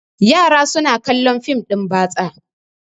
yara suna kallon fim din batsa